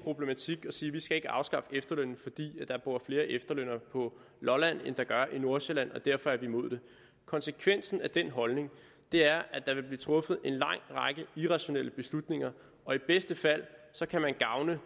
problematikken og sige vi skal ikke afskaffe efterlønnen fordi der bor flere efterlønnere på lolland end der gør i nordsjælland og derfor er vi imod det konsekvensen af den holdning er at der vil blive truffet en lang række irrationelle beslutninger og i bedste fald kan man gavne